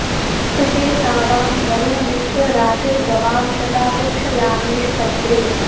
स्तुषे सा वां वरुण मित्र रातिर्गवां शता पृक्षयामेषु पज्रे